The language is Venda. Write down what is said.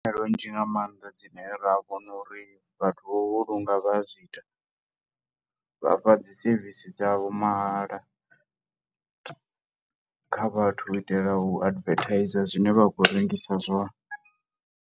Ndi nzhi nga maanḓa dzine ra vhona uri vhathu vho u vhulunga vha a zwi ita, vha fha dzi service dzavho mahala kha vhathu u itela u advertise zwine vha khou rengisa zwone.